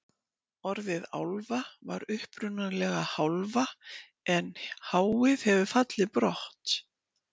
orðið álfa var upprunalega hálfa en hið hefur fallið brott